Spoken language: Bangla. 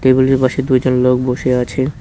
বিলটির পাশে দুইটা লোক বসে আছে।